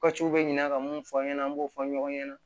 bɛ ɲina ka mun fɔ an ɲɛna an b'o fɔ ɲɔgɔn ɲɛna